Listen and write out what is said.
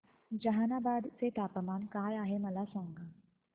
जहानाबाद चे तापमान काय आहे मला सांगा